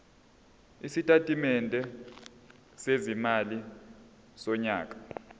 isitatimende sezimali sonyaka